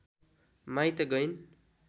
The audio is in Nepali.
माइत गइन्